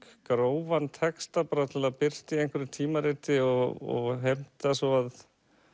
grófan texta bara til að birta í einhverju tímariti og heimta svo að